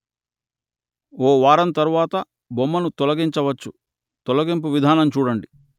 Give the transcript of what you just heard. ఓ వారం తరువాత బొమ్మను తొలగించవచ్చు తొలగింపు విధానం చూడండి